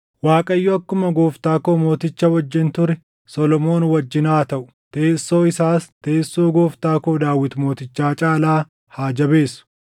Waaqayyo akkuma gooftaa koo mooticha wajjin ture Solomoon wajjin haa taʼu; teessoo isaas teessoo gooftaa koo Daawit mootichaa caalaa haa jabeessu!”